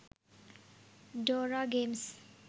dora games